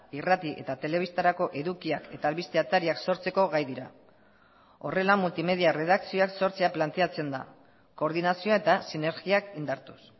irrati eta telebistarako edukiak eta albiste atariak sortzeko gai dira horrela multimedia erredakzioak sortzea planteatzen da koordinazioa eta sinergiak indartuz